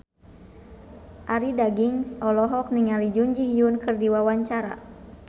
Arie Daginks olohok ningali Jun Ji Hyun keur diwawancara